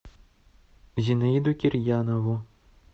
зинаиду кирьянову